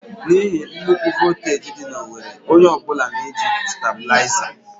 N'ihi nnukwu voltaji dị na owerri, onye ọ bụla na-eji Stàbulaizà.